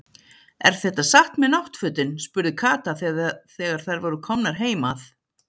Er þetta satt með náttfötin? spurði Kata þegar þær voru komnar heim að